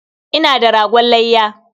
Ina da ragon layya.